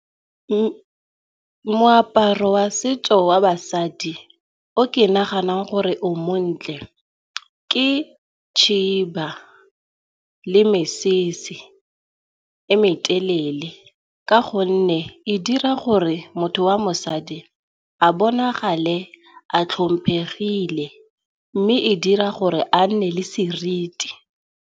Moaparo wa setso wa basadi o ke naganang gore o montle ke khiba le mesese e metelele, ka gonne e dira gore motho wa mosadi a bonagale a tlhomphegile mme e dira gore a nne le seriti.